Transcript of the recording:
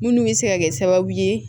Munnu bɛ se ka kɛ sababu ye